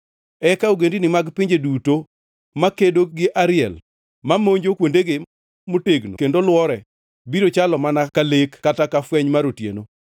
Eka ogendini mag pinje duto makedo gi Ariel, mamonjo kuondege motegno kendo lwore, biro chalo mana ka lek kata ka fweny mar otieno,